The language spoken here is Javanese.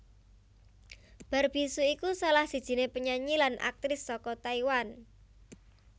Barbie hsu iku salah sijiné penyanyi lan aktris saka Taiwan